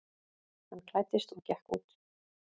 Hann klæddist og gekk út.